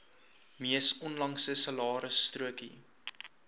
mees onlangse salarisstrokie